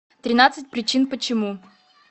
тринадцать причин почему